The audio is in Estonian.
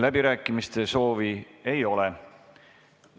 Läbirääkimiste soovi ei ole.